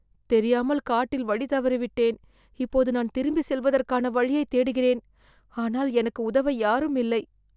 தெரியாமல் காட்டில் வழி தவறிவிட்டேன் இப்போது நான் திரும்பிச் செல்வதற்கான வழியைத் தேடுகிறேன் ஆனால் எனக்கு உதவ யாரும் இல்லை